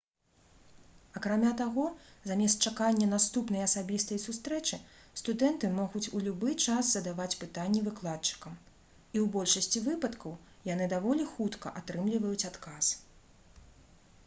акрамя таго замест чакання наступнай асабістай сустрэчы студэнты могуць у любы час задаваць пытанні выкладчыкам і ў большасці выпадкаў яны даволі хутка атрымліваюць адказ